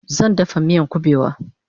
Zan dafa miyan kubewa